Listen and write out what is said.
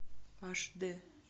аш д